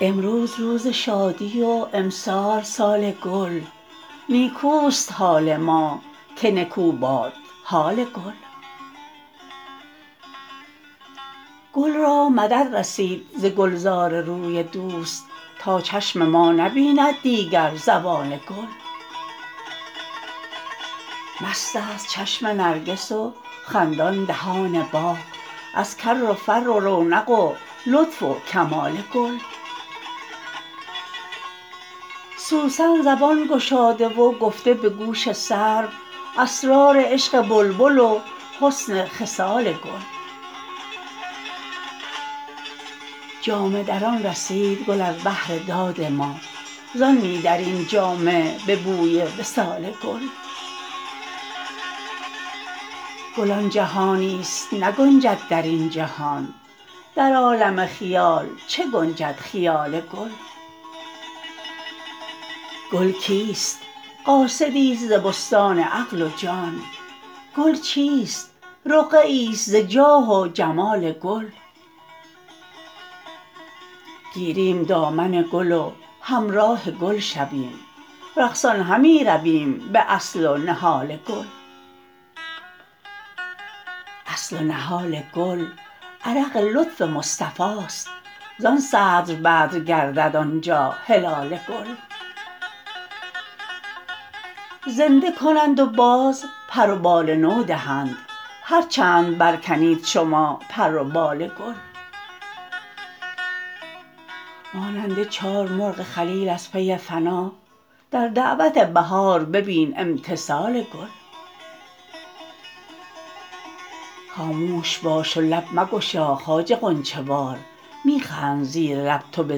امروز روز شادی و امسال سال گل نیکوست حال ما که نکو باد حال گل گل را مدد رسید ز گلزار روی دوست تا چشم ما نبیند دیگر زوال گل مستست چشم نرگس و خندان دهان باغ از کر و فر و رونق و لطف و کمال گل سوسن زبان گشاده و گفته به گوش سرو اسرار عشق بلبل و حسن خصال گل جامه دران رسید گل از بهر داد ما زان می دریم جامه به بوی وصال گل گل آن جهانیست نگنجد در این جهان در عالم خیال چه گنجد خیال گل گل کیست قاصدیست ز بستان عقل و جان گل چیست رقعه ایست ز جاه و جمال گل گیریم دامن گل و همراه گل شویم رقصان همی رویم به اصل و نهال گل اصل و نهال گل عرق لطف مصطفاست زان صدر بدر گردد آن جا هلال گل زنده کنند و باز پر و بال نو دهند هر چند برکنید شما پر و بال گل مانند چار مرغ خلیل از پی فنا در دعوت بهار ببین امتثال گل خاموش باش و لب مگشا خواجه غنچه وار می خند زیر لب تو به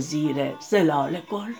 زیر ظلال گل